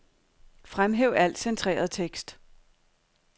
Fremhæv al centreret tekst.